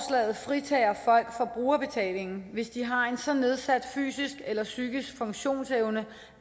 fritager folk for brugerbetaling hvis de har en så nedsat fysisk eller psykisk funktionsevne